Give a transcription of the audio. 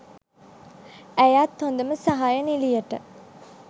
ඇයත් හොදම සහාය නිළියට